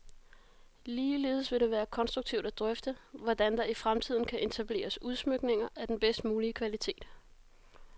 Ligeledes vil det være konstruktivt at drøfte, hvordan der i fremtiden kan etableres udsmykninger af den bedst mulige kvalitet.